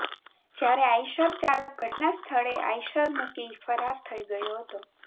જ્યારે આઇશર ચાલક ઘટનાસ્થળે આઇશર મુકી ફરાર થઇ ગયો હતો